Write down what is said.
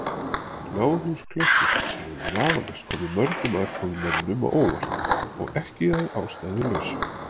Náðhús klaustursins hefur vafalaust komið mörgum aðkomumanninum á óvart, og ekki að ástæðulausu.